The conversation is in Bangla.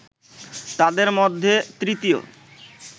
তাদের মধ্যে তৃতীয়